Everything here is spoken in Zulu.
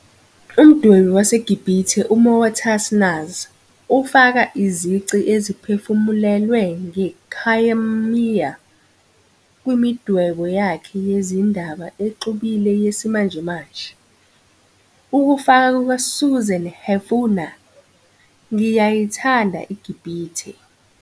Umdwebi waseGibhithe uMoataz Nasr ufaka izici eziphefumulelwe nge-khayamiya kwimidwebo yakhe yezindaba exubile yesimanjemanje. Ukufaka kukaSusan Hefuna "Ngiyayithanda iGibhithe!"